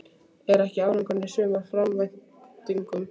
Er ekki árangurinn í sumar framar væntingum?